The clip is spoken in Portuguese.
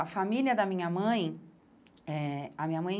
A família da minha mãe, eh a minha mãe